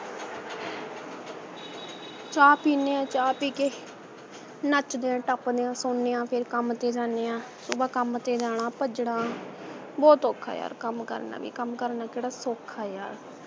ਚਾਹ ਪੀਣੇ ਹੈ ਚਾਹ ਪੀਕੇ ਨੱਚਦੇ ਹੈ ਟਪਦੇ ਹੈ ਸੋਨੇ ਹੈ ਫੇਰ ਕੱਮ ਤੇ ਜਾਣੇ ਹਾਂ ਸੁਭ ਕੱਮ ਤੇ ਜਾਣਾ ਭਜਣਾ ਬਹੁਤ ਔਖਾ ਯਾਰ ਕੱਮ ਕਰਨਾ ਭੀ ਕੱਮ ਕਰਨਾ ਕੇੜਾ ਸੌਖਾ ਯਾਰ